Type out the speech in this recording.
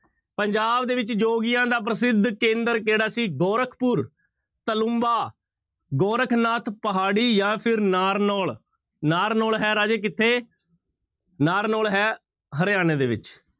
ਪੰਜਾਬ ਦੇ ਵਿੱਚ ਜੋਗੀਆਂ ਦਾ ਪ੍ਰਸਿੱਧ ਕੇਂਦਰ ਕਿਹੜਾ ਸੀ ਗੋਰਖਪੁਰ, ਤਲੂੰਬਾ, ਗੋਰਖਨਾਥ ਪਹਾੜੀ ਜਾਂ ਫਿਰ ਨਾਰਨੋਲ, ਨਾਰਨੋਲ ਹੈ ਰਾਜੇ ਕਿੱਥੇ, ਨਾਰਨੋਲ ਹੈ ਹਰਿਆਣੇ ਦੇ ਵਿੱਚ।